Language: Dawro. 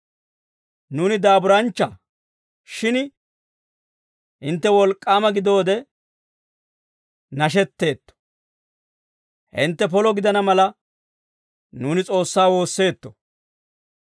nuuni daaburanchcha shin hintte wolk'k'aama gidoode nashetteetto. Hintte polo gidana mala nuuni S'oossaa woosseetto.